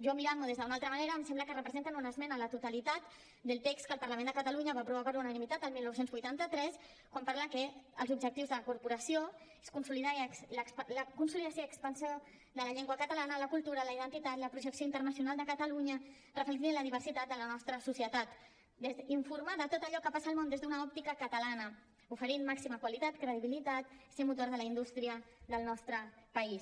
jo mirant m’ho des d’una altra manera em sembla que representen una esmena a la totalitat del text que el parlament de catalunya va aprovar per unanimitat el dinou vuitanta tres quan parla que els objectius de la corporació són la consolidació i expansió de la llengua catalana la cultura la identitat la projecció internacional de catalunya reflectida en la diversitat de la nostra societat informar de tot allò que passa al món des d’una òptica catalana oferint màxima qualitat credibilitat ser motor de la indústria del nostre país